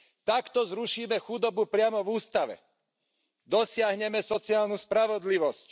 Takto zrušíme chudobu priamo v ústave. Dosiahneme sociálnu spravodlivosť.